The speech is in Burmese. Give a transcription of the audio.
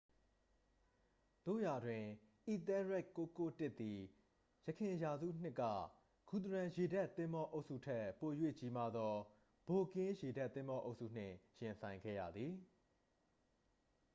သို့ရာတွင် အီသဲလ်ရက်ဒ်991သည် ယခင်ရာစုနှစ်က ဂူသရန်ရေတပ်သင်္ဘောအုပ်စုထက် ပို၍ကြီးမားသော ဗိုက်ကင်းရေတပ်သင်္ဘောအုပ်စုနှင့် ရင်ဆိုင်ခဲ့ရသည်